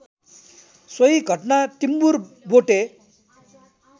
सोही घटना टिम्बुरबोटे